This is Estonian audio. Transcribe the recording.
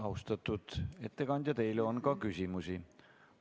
Austatud ettekandja, teile on ka küsimusi.